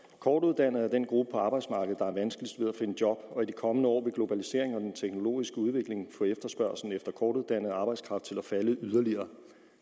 kortuddannede er den gruppe på arbejdsmarkedet der har vanskeligst ved at finde jobs og i de kommende år vil globaliseringen og den teknologiske udvikling få efterspørgslen efter kortuddannet arbejdskraft til at falde yderligere